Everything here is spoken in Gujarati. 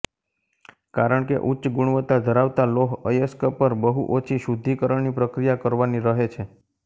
કારણ કે ઉચ્ચ ગુણવત્તા ધરાવતા લોહ અયસ્ક પર બહુ ઓછી શુદ્ધિકરણની પ્રક્રિયા કરવાની રહે છે